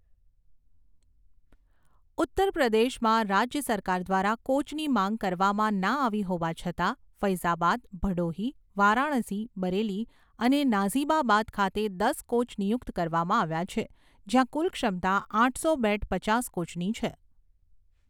ઉત્તરપ્રદેશમાં, રાજ્ય સરકાર દ્વારા કોચની માંગ કરવામાં ના આવી હોવા છતાં, ફૈઝાબાદ, ભડોહી, વારાણસી, બરેલી અને નાઝીબાબાદ ખાતે દસ કોચ નિયુક્ત કરવામાં આવ્યા છે જ્યાં કુલ ક્ષમતા આઠસો બેડ પચાસ કોચની છે.